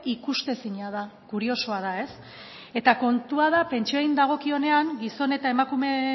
ikustezina da kuriosoa da ez kontua da pentsioei dagokionean gizon eta